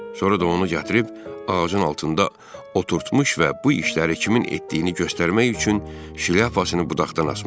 Sonra da onu gətirib ağacın altında oturtmuş və bu işləri kimin etdiyini göstərmək üçün şlyapasını budaqdan asmışlar.